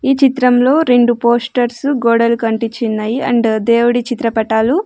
ఈ చిత్రంలో రెండు పోస్టర్సు గోడలకు అంటిచ్చిన్నాయి అండ్ దేవుడి చిత్రపటాలు--